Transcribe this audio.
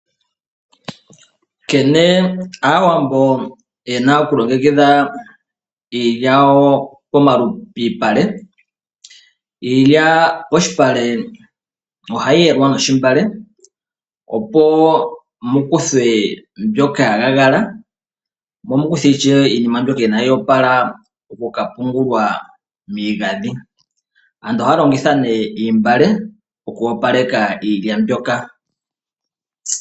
Nkene Aawambo ye na okulongekidha iilya yawo piipale: iilya polupale ohayi yelwa noontungwa, opo ku kuthwe mbyoka ya gagala nosho wo iinima mbyoka inaayi opala okuya oku ka pungulwa miigandhi. Aantu ohaya longitha oontungwa oku opaleka iilya mbyoka.